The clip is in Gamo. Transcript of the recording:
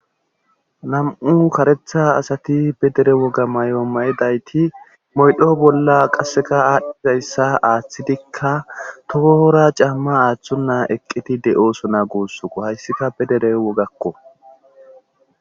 nam7u karetha asati be dere woga mayo mayidayti moydho bolla qasseka aadhdhizayssa aaththidikka tohoora caamma aaththun na eqqiti de7osona guussuko hayssika pe dere wogakko